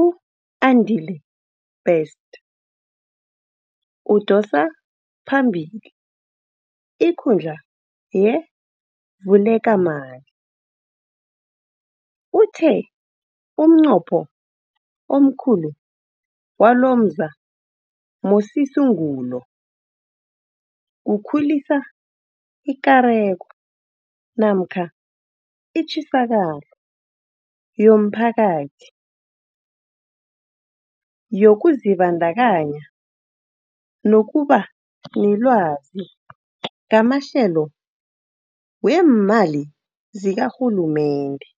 u-Andile Best, odosa phambili ikundla ye-Vulekamali, uthe umnqopho omkhulu walomzamosisungulo kukhulisa ikareko namkha itjisakalo yomphakathi, yokuzibandakanya nokuba nelwazi ngamahlelo weemali zikarhulumende.